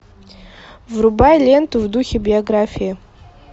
врубай ленту в духе биографии